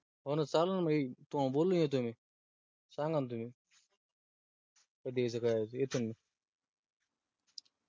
तो चलन ना येयील. तुम्हाला बोलो ना येतो मी सांगा न तुम्ही कधी यायच? काय यायच? येतो मी